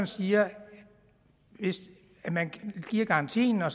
siger at man giver garantien og